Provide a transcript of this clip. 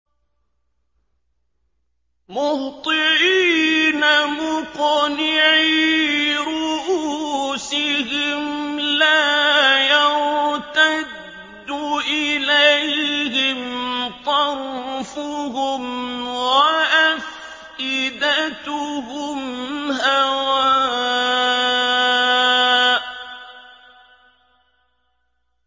مُهْطِعِينَ مُقْنِعِي رُءُوسِهِمْ لَا يَرْتَدُّ إِلَيْهِمْ طَرْفُهُمْ ۖ وَأَفْئِدَتُهُمْ هَوَاءٌ